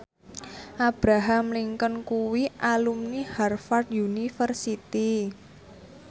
Abraham Lincoln kuwi alumni Harvard university